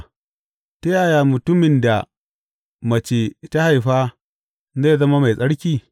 Ta yaya mutumin da mace ta haifa zai zama mai tsarki?